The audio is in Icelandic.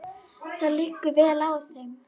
Það liggur vel á þeim.